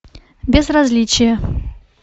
безразличие